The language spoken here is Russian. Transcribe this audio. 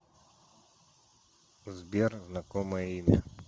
сбер знакомое имя